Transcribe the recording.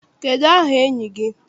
Kedụ aha enyi gị?